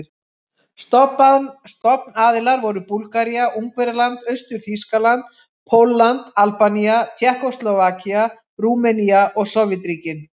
Stofnaðilar voru Búlgaría, Ungverjaland, Austur-Þýskaland, Pólland, Albanía, Tékkóslóvakía, Rúmenía og Sovétríkin.